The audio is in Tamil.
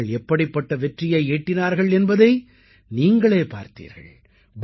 அவர்கள் எப்படிப்பட்ட வெற்றியை ஈட்டினார்கள் என்பதை நீங்களே பார்த்தீர்கள்